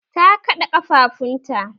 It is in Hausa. Ta kaɗa ƙafafunta